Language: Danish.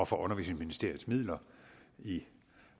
for undervisningsministeriets midler i